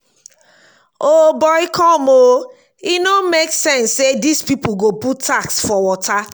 o boy come oo e no make sense say dis people go put tax for water